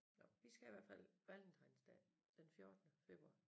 Nåh vi skal i hvert fald Valentinsdag den fjortende februar